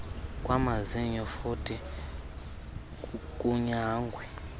kwamazinyo futhi kunyangwe